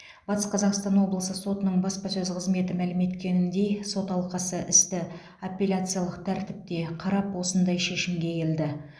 батыс қазақстан облысы сотының баспасөз қызметі мәлім еткеніндей сот алқасы істі апелляциялық тәртіпте қарап осындай шешімге келді